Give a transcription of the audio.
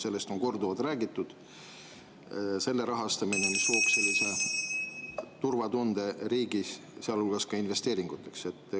Sellest on korduvalt räägitud, et selle rahastamine looks riigis turvatunde, sealhulgas ka investeeringuteks.